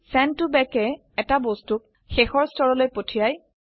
send to back য়ে এটা বস্তুক শেষৰ স্তৰলৈ পঠায়